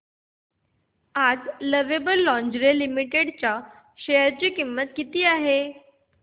आज lovable lingerie limited च्या share ची किंमत किती आहे